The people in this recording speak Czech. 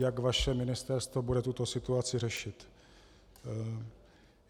Jak vaše ministerstvo bude tuto situaci řešit?